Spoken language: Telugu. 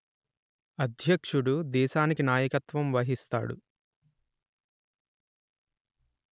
అధ్యక్షుడు దేశానికి నాయకత్వం వహిస్తాడు